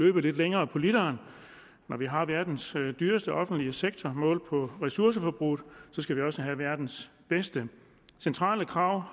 løbe lidt længere på literen når vi har verdens dyreste offentlige sektor målt på ressourceforbruget skal vi også have verdens bedste centrale krav